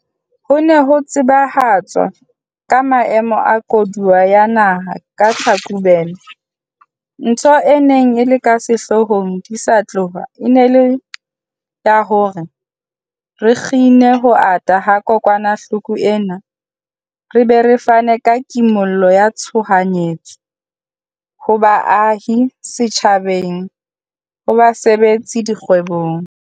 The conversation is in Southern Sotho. Ha ho ne ho tsebahatswa ka Maemo a Koduwa ya Naha ka Tlhakubele, ntho e neng e le ka sehloohong di sa tloha e ne e le ya hore re kgine ho ata ha kokwanahloko ena re be re fane ka kimollo ya tshoha nyetso ho baahi, setjhabeng, ho basebetsi le dikgwebong.